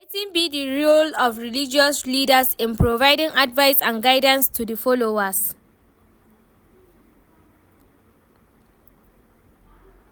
Wetin be di role of religious leaders in providing advice and guidance to di followers?